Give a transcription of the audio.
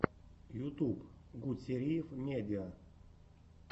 ютуб гутсериев медиа